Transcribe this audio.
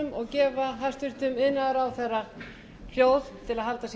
virðulegi forseti ég mæli hér fyrir frumvarpi til